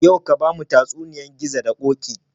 Yau ka bamu tatsuniyar gizo da koki